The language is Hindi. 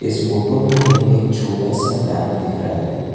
इस फोटो में हमें एक छोटा सा डैम दिख रहा है।